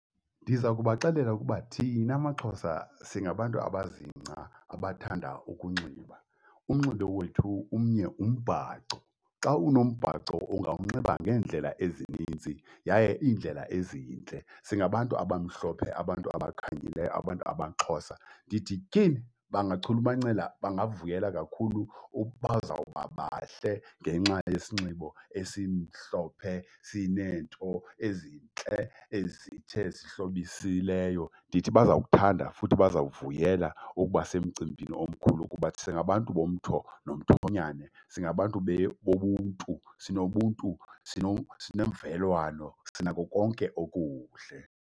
Ndiza kubaxelela ukuba thina maXhosa singabantu abazingca, abathanda ukunxiba, umnxibo wethu umnye umbhaco. Xa unombhaco ungawunxiba ngeendlela ezininzi yaye iindlela ezintle. Singabantu abamhlophe, abantu abakhanyileyo, abantu abaXhosa. Ndithi tyhini, bangachulumancela, bangavuyela kakhulu , bazawuba bahle ngenxa yesinxibo esimhlophe, sineento ezintle ezithe ezihlobisileyo. Ndithi baza kuthanda futhi bazawuvuyela ukuba semcimbini omkhulu, kuba singabantu bomtho nomthonyane. Singabantu bobuntu, sinobuntu, sinemvelwano, sinako konke okuhle.